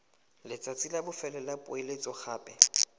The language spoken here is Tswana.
letsatsi la bofelo la poeletsogape